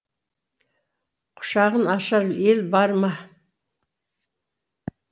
құшағын ашар ел бар ма